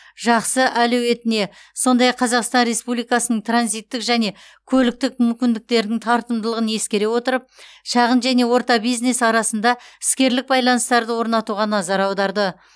жақсы әлеуетіне сондай ақ қазақстан республикасының транзиттік және көліктік мүмкіндіктерінің тартымдылығын ескере отырып шағын және орта бизнес арасында іскерлік байланыстарды орнатуға назар аударды